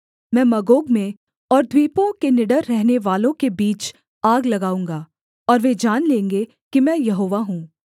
मैं मागोग में और द्वीपों के निडर रहनेवालों के बीच आग लगाऊँगा और वे जान लेंगे कि मैं यहोवा हूँ